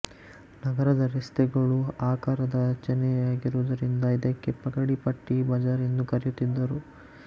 ನಗರದ ರೆಸ್ತೆಗಳು ಆಕಾರದ ರಚನೆಯಾಗಿರುವುದರಿಂದ ಇದಕ್ಕೆ ಪಗಡಿ ಪಟ್ಟಿ ಬಜಾರ್ ಎಂದು ಕರೆಯುತ್ತಿದ್ದರು